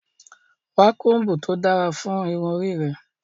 Wa kombu to dara fun irun ori rẹ!